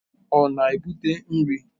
Ọ na-ebute nri?